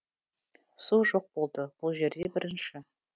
су жоқ болды бұл жерде бірінші